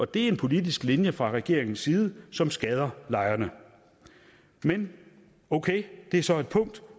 det er en politisk linje fra regeringens side som skader lejerne men okay det er så et punkt